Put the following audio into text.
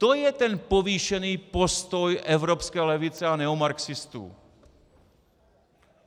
To je ten povýšený postoj evropské levice a neomarxistů.